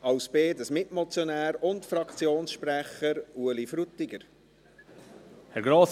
Als Mitmotionär und Fraktionssprecher: Ueli Frutiger.